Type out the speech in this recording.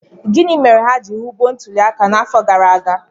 Gịnị mere ha ji ghọgbuo ntuliaka n'afọ gara aga?